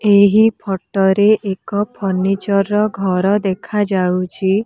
ଏହି ଫୋଟୋ ରେ ଏକ ଫର୍ଣିଚର ର ଘର ଦେଖା ଯାଉଛି।